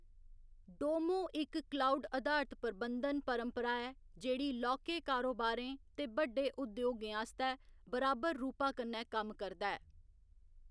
डोमो इक क्लाउड अधारत प्रबंधन परपंरा ऐ जेह्‌‌ड़ी लौह्‌‌‌के कारोबारें ते बड्डे उद्योगें आस्तै बराबर रूपा कन्नै कम्म करदा ऐ।